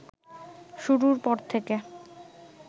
শুরুর পর থেকে